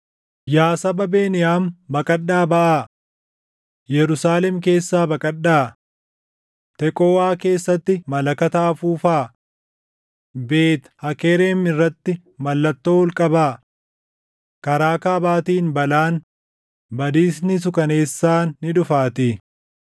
“Yaa saba Beniyaam baqadhaa baʼaa! Yerusaalem keessaa baqadhaa! Teqooʼaa keessatti malakata afuufaa! Beet Hakerem irratti mallattoo ol qabaa! Karaa kaabaatiin balaan, badiisni suukaneessaan ni dhufaatii.